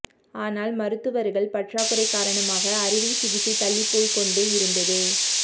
ஆனால் மருத்துவர்கள் பற்றாக்குறை காரணமாக அறுவை சிகிச்சை தள்ளிப்போய்கொண்டே இருந்தது